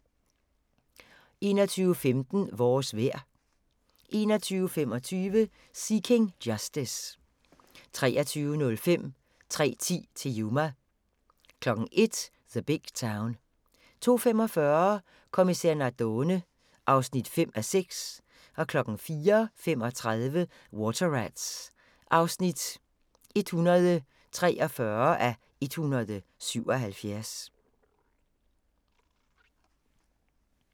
21:15: Vores vejr 21:25: Seeking Justice 23:05: 3:10 til Yuma 01:00: The Big Town 02:45: Kommissær Nardone (5:6) 04:35: Water Rats (143:177)